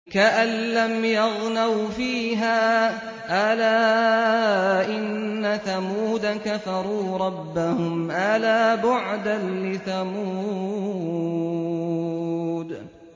كَأَن لَّمْ يَغْنَوْا فِيهَا ۗ أَلَا إِنَّ ثَمُودَ كَفَرُوا رَبَّهُمْ ۗ أَلَا بُعْدًا لِّثَمُودَ